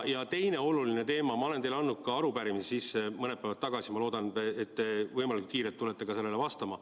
Ja teine oluline teema, ma olen teile ka arupärimise mõned päevad tagasi sisse andnud, ma loodan, et te võimalikult kiiresti tulete sellele vastama.